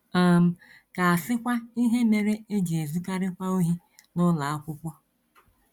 um Ka a sịkwa ihe mere e ji ezukarịkwa ohi n’ụlọ akwụkwọ!